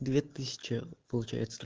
две тысячи получается